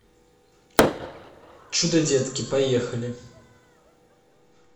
чудо детки поехали